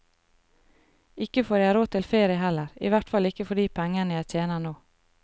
Ikke får jeg råd til ferie heller, i hvert fall ikke for de pengene jeg tjener nå.